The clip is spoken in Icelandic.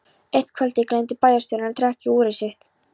Eitt kvöldið gleymdi bæjarstjórinn að trekkja úrið sitt.